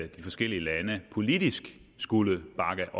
de forskellige lande politisk skulle bakke